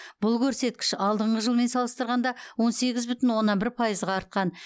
бұл көрсеткіш алдыңғы жылмен салыстырғанда он сегіз бүтін оннан бір пайызға артқан